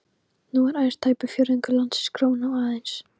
Nú er aðeins tæpur fjórðungur landsins gróinn og aðeins